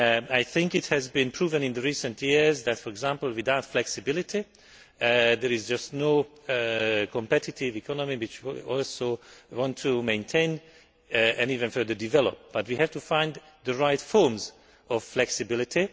I think it has been proven in recent years that, for example, without flexibility there is just no competitive economy, which we also want to maintain and even further develop, but we have to find the right forms of flexibility.